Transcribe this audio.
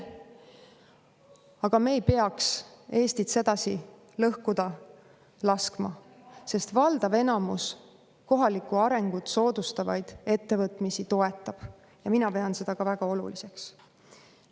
Aga me ei peaks Eestit sedasi lõhkuda laskma, sest valdav enamik kohalikku arengut soodustavaid ettevõtmisi toetab ja mina pean seda väga oluliseks.